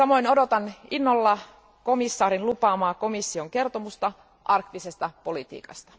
Odotan innolla komissaari Fülen lupaamaa komission kertomusta arktisesta politiikasta.